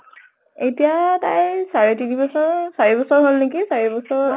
আতিয়া তাইৰ চাৰে তিনি বছৰ চাৰি বছৰ হল নেকি। চাৰি বছৰ